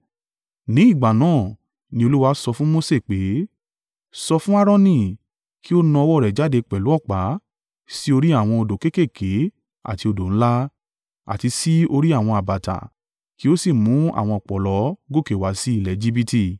Ní ìgbà náà ni Olúwa sọ fún Mose pé, “Sọ fún Aaroni, ‘Kí ó na ọwọ́ rẹ̀ jáde pẹ̀lú ọ̀pá sí orí àwọn odò kéékèèké àti odò ńlá, àti sí orí àwọn àbàtà kí ó sì mú àwọn ọ̀pọ̀lọ́ gòkè wá sí ilẹ̀ Ejibiti.’ ”